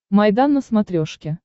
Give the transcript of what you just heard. майдан на смотрешке